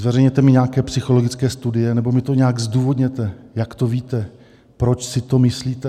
Zveřejněte mi nějaké psychologické studie nebo mi to nějak zdůvodněte, jak to víte, proč si to myslíte.